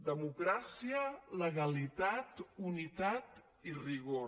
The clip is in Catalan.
democràcia legalitat unitat i rigor